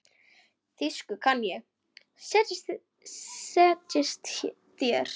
Þýsku kann ég, setjist þér.